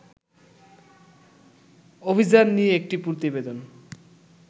অভিযান নিয়ে একটি প্রতিবেদন